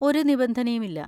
ഒരു നിബന്ധനയും ഇല്ല.